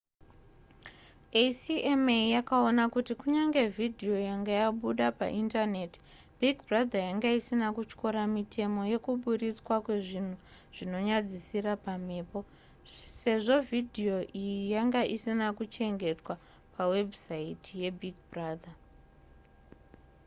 acma yakaona kuti kunyangwe vhidhiyo yanga yabuda paindaneti big brother yanga isina kutyora mitemo yekuburitswa kwezvinhu zvinonyadzisira pamhepo sezvo vhidhiyo iyi yanga isina kuchengetwa pawebhusaiti yebig brother